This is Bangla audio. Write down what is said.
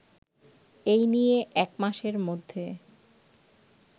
এই নিয়ে একমাসের মধ্যে